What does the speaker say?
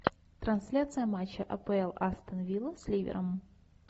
трансляция матча апл астон вилла с ливером